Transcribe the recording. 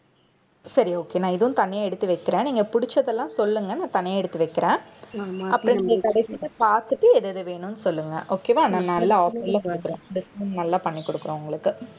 சரி okay நான் இதுவும் தனியா எடுத்து வைக்கிறேன். நீங்க புடிச்சதெல்லாம் சொல்லுங்க. நான் தனியா எடுத்து வைக்கிறேன். அப்புறம் நீங்க கடைசியில பார்த்துட்டு எது எது வேணும்னு சொல்லுங்க okay வா நான் நல்ல offer ல discount நல்லா பண்ணி கொடுக்குறேன் உங்களுக்கு.